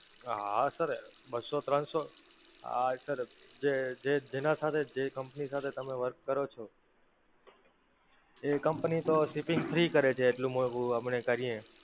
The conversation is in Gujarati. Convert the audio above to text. હા Sir, બસ્સો ત્રણસો, હા Sir, જે જે જેના સાથે જે Company સાથે તમે Work કરો છો, એ Company તો Shipping free કરે છે એટલું મોંઘું અમને કરીએ,